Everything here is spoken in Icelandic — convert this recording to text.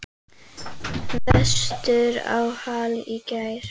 Vestur á Hala í gær.